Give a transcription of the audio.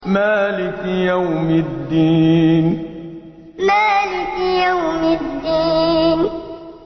مَالِكِ يَوْمِ الدِّينِ مَالِكِ يَوْمِ الدِّينِ